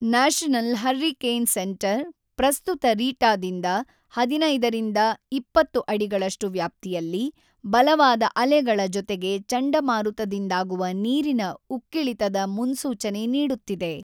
National hurricane centre ಪ್ರಸ್ತುತ ರೀಟಾದಿಂದ ೧೫ರಿಂದ ೨೦ ಅಡಿಗಳಷ್ಟು ವ್ಯಾಪ್ತಿಯಲ್ಲಿ, ಬಲವಾದ ಅಲೆಗಳ ಜೊತೆಗೆ ಚಂಡಮಾರುತದಿಂದಾಗುವ ನೀರಿನ ಉಕ್ಕಿಳಿತದ ಮುನ್ಸೂಚನೆ ನೀಡುತ್ತಿದೆ.